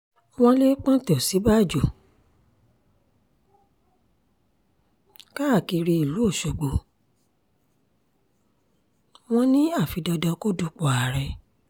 wọ́n lè pọ́ńté òsínbàjò káàkiri ìlú ọ̀ṣọ́gbó wọn ni àfi dandan kó dúpọ̀ ààrẹ